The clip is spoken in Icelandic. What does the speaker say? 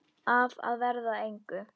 Af að verða að engu.